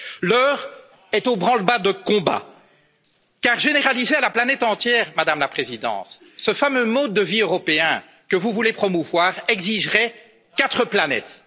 L'heure est au branle bas de combat car généraliser à la planète entière, Madame la Présidente, ce fameux mode de vie européen que vous voulez promouvoir exigerait quatre planètes.